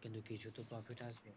কিন্তু কিছু তো profit আসবে।